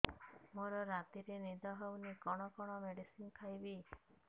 ମୋର ରାତିରେ ନିଦ ହଉନି କଣ କଣ ମେଡିସିନ ଖାଇବି